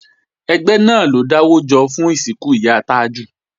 Ẹgbẹ́ náà ló dáwọ́ jọ fún ìsìnkú ìyá Tájù